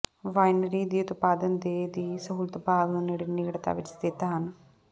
winery ਦੀ ਉਤਪਾਦਨ ਦੇ ਦੀ ਸਹੂਲਤ ਬਾਗ ਨੂੰ ਨੇੜੇ ਨੇੜਤਾ ਵਿੱਚ ਸਥਿਤ ਹਨ